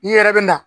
I yɛrɛ bɛ na